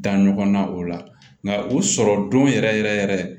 Da ɲɔgɔnna o la nka o sɔrɔ don yɛrɛ yɛrɛ yɛrɛ yɛrɛ